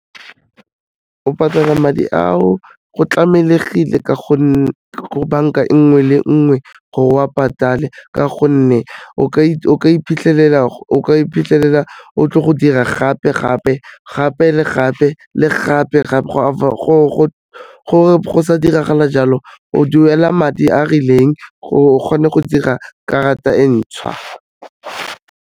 O patala madi ao, go tlamelehile ka gonne banka e nngwe le nngwe gore wa patale ka gonne o ka iphitlhelela o tlo go dira gape-gape, gape le gape le gape-gape go sa diragala jalo o duela madi a a rileng gore o kgone go dira karata e ntšha.